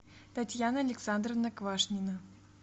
татьяна александровна квашнина